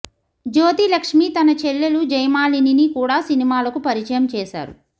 జ్యోతి లక్ష్మి తన చెల్లెలు జయమాలినిని కూడా సినిమాలకు పరిచయం చేశారు